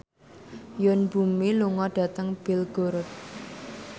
Yoon Bomi lunga dhateng Belgorod